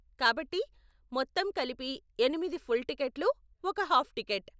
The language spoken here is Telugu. కాబట్టి, మొత్తం కలిపి ఎనిమిది ఫుల్ టికెట్లు, ఒక హాఫ్ టికెట్.